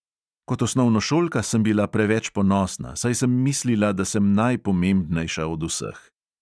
Kot osnovnošolka sem bila preveč ponosna, saj sem mislila, da sem najpomembnejša od vseh.